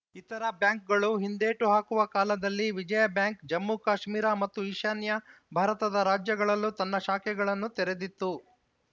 ಇತರ ಬ್ಯಾಂಕುಗಳು ಹಿಂದೇಟು ಹಾಕುವ ಕಾಲದಲ್ಲಿ ವಿಜಯಾ ಬ್ಯಾಂಕ್‌ ಜಮ್ಮು ಕಾಶ್ಮೀರ ಮತ್ತು ಈಶಾನ್ಯ ಭಾರತದ ರಾಜ್ಯಗಳಲ್ಲೂ ತನ್ನ ಶಾಖೆಗಳನ್ನು ತೆರೆದಿತ್ತು